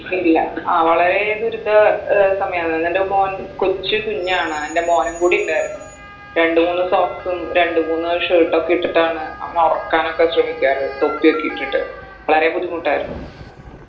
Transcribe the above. ഇല്ല ആ വളരെ ദുരിത ഏർ സമയാണ് എൻറെ മോൻ കൊച്ചു കുഞ്ഞാണ് എൻറെ മോനും കൂടി ഉണ്ടായിരുന്നു രണ്ട് മൂന്ന് socks ഉം രണ്ട് മൂന്ന് shirt ഒക്കെ ഇട്ടിട്ടാണ് അവനെ ഒറക്കാനൊക്കെ ശ്രമിക്കാറ് തൊപ്പിയൊക്കെ ഇട്ടിട്ട് വളരെ ബുദ്ധിമുട്ടായിർന്നു